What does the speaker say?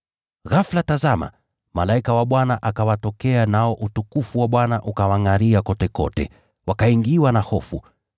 Ghafula tazama, malaika wa Bwana akawatokea, nao utukufu wa Bwana ukawangʼaria kotekote, wakaingiwa na hofu.